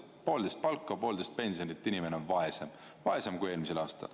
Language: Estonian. Poolteist palka või poolteist pensioni inimene on vaesem, vaesem kui eelmisel aastal.